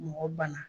Mɔgɔ banna